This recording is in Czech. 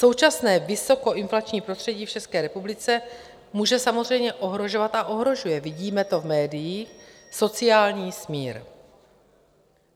Současné vysokoinflační prostředí v České republice může samozřejmě ohrožovat a ohrožuje - vidíme to v médiích - sociální smír.